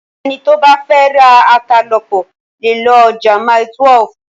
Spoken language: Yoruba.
Ẹni tó bá fẹ́ ra ata lọ́pọ̀ lè lọ ọjà Mile12.